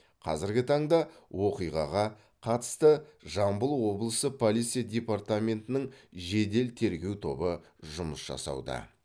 қазіргі таңда оқиғаға қатысты жамбыл облысы полиция департаментінің жедел тергеу тобы жұмыс жасауда